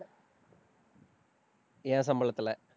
என் சம்பளத்துல